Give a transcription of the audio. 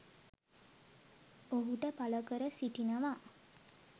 ඔහුට පළ කර සිටිනවා.